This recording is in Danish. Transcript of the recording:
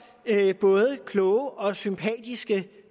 både kloge og sympatiske